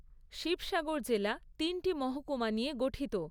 শিবসাগর জেলা তিনটি মহকুমা নিয়ে গঠিত